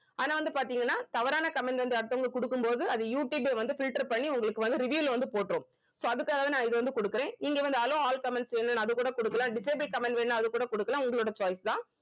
ஆனா வந்து பாத்தீங்கன்னா தவறான comments வந்து அடுத்தவங்களுக்கு குடுக்கும்போது அது யூட்டியூபே வந்து filter பண்ணி உங்களுக்கு வந்து review ல வந்து போட்டுரும் so அதுக்காக தான் நான் இதை வந்து குடுக்கிறேன் இங்க வந்து hello all comments ன்னு அது கூட குடுக்கலாம் disable comment வேணா அது கூட குடுக்கலாம் உங்களோட choice தான்